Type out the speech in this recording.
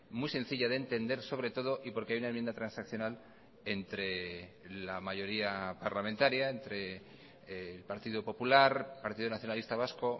muy sencilla de entender sobre todo y porque hay una enmienda transaccional entre la mayoría parlamentaria entre el partido popular partido nacionalista vasco